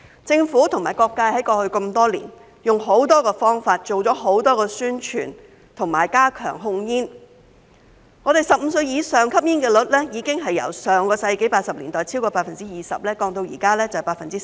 政府及各界在過去多年用了很多方法，做了很多宣傳，並加強控煙，使本港15歲以上人士的吸煙率已經由上世紀80年代超過 20%， 下降至現時的 10%。